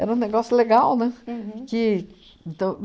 Era um negócio legal, né? Uhum. Que, então